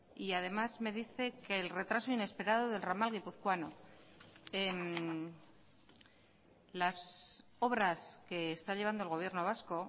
y además me dice que el retraso inesperado del ramal guipuzcoano las obras que está llevando el gobierno vasco